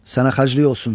Sənə xərclik olsun.